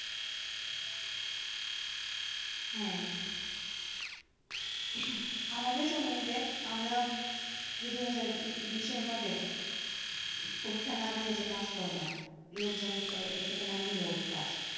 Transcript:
হ্যাঁ, আমাদের সময়ে দেখ, আমরা যে দুহাজার বিশের মধ্যে পরীক্ষা না দিয়ে যে pass করলাম লোকজন এটাকে নাম দিলো